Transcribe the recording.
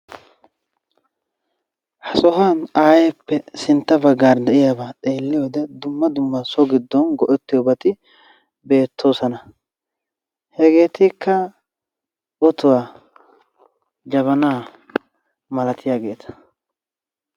Ha sohuwaan ayeeppe sintta baggaara de'iyaaba xeelliyoode dumma dumma so giddon asay go"ettiyoobati beettoosona. Hegeetikka otuwaa jabanaa malatiyaageta.